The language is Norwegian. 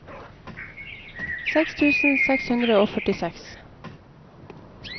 seks tusen seks hundre og førtiseks